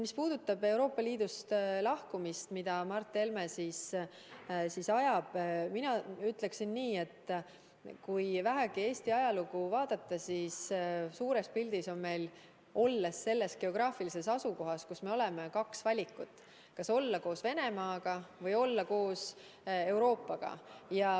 Mis puudutab Euroopa Liidust lahkumist, mida Mart Helme ajab, siis mina ütleksin nii, et kui vähegi Eesti ajalugu teada, siis suures pildis on meil, kes me paikneme selles geograafilises asukohas, kus me paikneme, kaks valikut: kas olla koos Venemaaga või olla koos Euroopaga.